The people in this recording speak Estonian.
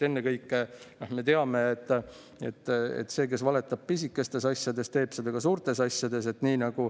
Ennekõike me teame, et see, kes valetab pisikestes asjades, teeb seda ka suurtes asjades.